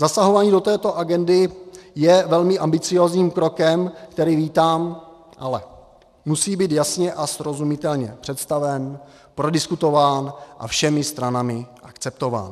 Zasahování do této agendy je velmi ambiciózním krokem, který vítám, ale musí být jasně a srozumitelně představen, prodiskutován a všemi stranami akceptován.